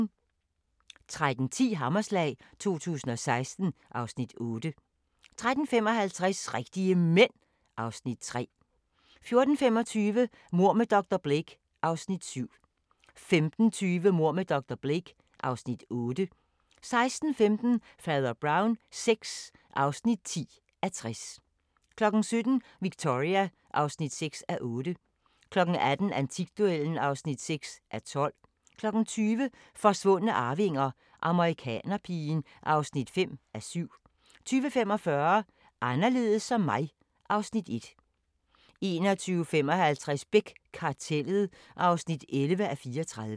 13:10: Hammerslag 2016 (Afs. 8) 13:55: Rigtige Mænd (Afs. 3) 14:25: Mord med dr. Blake (Afs. 7) 15:20: Mord med dr. Blake (Afs. 8) 16:15: Fader Brown VI (10:60) 17:00: Victoria (6:8) 18:00: Antikduellen (6:12) 20:00: Forsvundne arvinger: Amerikanerpigen (5:7) 20:45: Anderledes som mig (Afs. 1) 21:55: Beck – Kartellet (11:34)